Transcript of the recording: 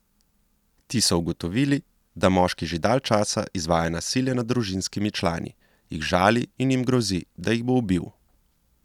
Ti so ugotovili, da moški že dalj časa izvaja nasilje nad družinskimi člani, jih žali in jim grozi, da jih bo ubil.